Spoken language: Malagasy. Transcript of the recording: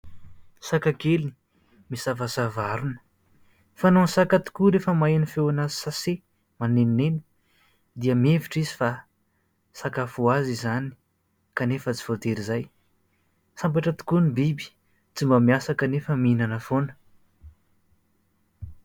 Saka kely misavasava harona. Fanaon'ny saka tokoa rehefa maheno feona sase manenoneno dia mihevitra izy fa sakafo ho azy izany kanefa tsy voatery izay. Sambatra tokoa ny biby tsy mba miasa kanefa mihinana foana.